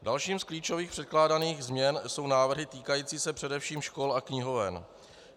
Dalším z klíčových předkládaných změn jsou návrhy týkající se především škol a knihoven.